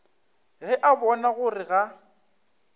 ge a bona gore ga